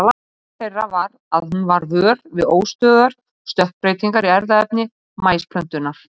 Upphaf þeirra var að hún varð vör við óstöðugar stökkbreytingar í erfðaefni maísplöntunnar.